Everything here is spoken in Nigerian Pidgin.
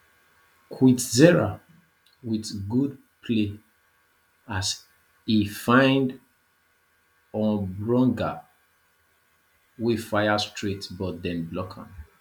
kwizera wit good play as e find omborenga wey fire straight but dem block am